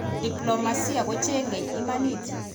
Diplomasia kocheng'e imanit